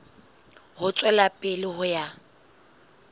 ho tswela pele ho ya